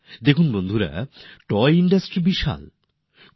দেখুন বন্ধুগণ toy industry অনেক ব্যাপক